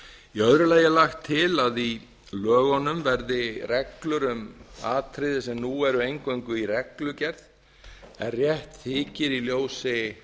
í öðru lagi er lagt til að í lögunum verði reglur um atriði sem nú eru eingöngu í reglugerð en rétt þykir í ljósi